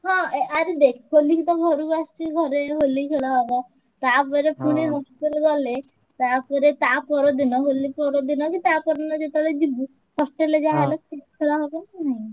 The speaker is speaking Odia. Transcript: ହଁ ଆରେ ଦେଖ ହୋଲି କି ତ ଘରକୁ ଆସିଛି ଘରେ ହୋଲି ଖେଳ ହବ ତାପରେ ପୁଣି hostel ଗଲେ ତାପରେ ତାପର ଦିନ ହୋଲି ପର ଦିନ କି ତା ପରଦିନ ଯେତବେଳେ ଯିବୁ hostel ରେ ଯାହା ହେଲେ ଖେଳ ହବ ନାଁ ନାଇଁ।